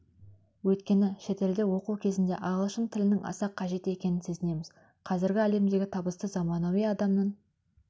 өйткені шетелде оқу кезінде ағылшын тілінің аса қажет екенін сезінеміз қазіргі әлемдегі табысты заманауи адамның